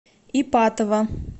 ипатово